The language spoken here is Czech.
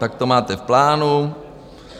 Tak to máte v plánu.